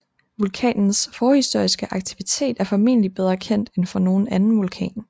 Vulkanens forhistoriske aktivitet er formentlig bedre kendt end for nogen anden vulkan